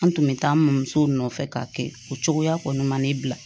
An tun bɛ taa an bamɔ musow nɔfɛ k'a kɛ o cogoya kɔni ma ne bila